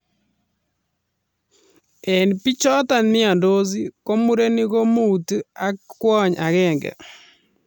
En bichoton miondos ko murenik ko mut ak ak kwony agenge